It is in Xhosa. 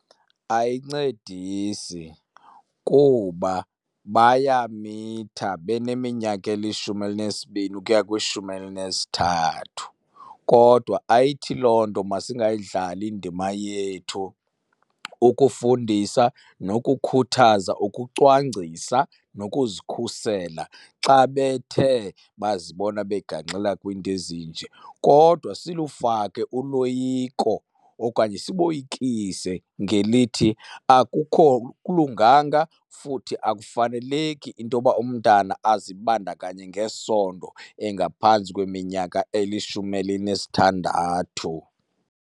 Ayincedisi kuba bayamitha baneminyaka elishumi elinesibini ukuya kwishumi elinesithathu. Kodwa ayithi loo nto masingayidlali indima yethu ukufundisa nokukhuthaza ukucwangcisa nokuzikhusela xa bethe bazibona begangxela kwiinto ezinje. Kodwa silufake uloyiko okanye siboyikise ngelithi akukho akulunganga futhi akufaneleki into yoba umntana azibandakanye ngesondo engaphantsi kweminyaka elishumi elinesithandathu.